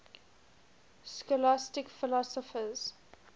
scholastic philosophers